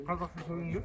Qazaxıstan öyünürdü?